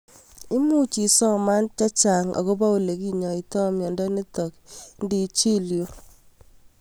Much isoman chechang'akopo ole kinyoitoi miondo nitok ngi chil yuu